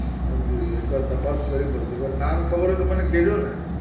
એકવાર તપાસ કરી પડશે નામ ખબર હોય તો કેજો ને